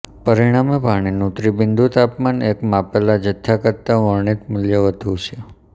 પરીણામે પાણીનું ત્રિબિંદુ તાપમાન એક માપેલા જથ્થા કરતા વર્ણિત મૂલ્ય વધુ છે